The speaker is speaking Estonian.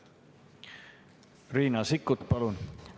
Riina Sikkut, palun!